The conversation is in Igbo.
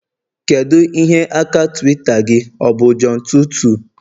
kedu ihe aka Twitter gị, ọ bụ john22?